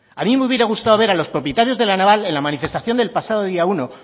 a me hubiera gustado a los propietarios de la naval en la manifestación del pasado día uno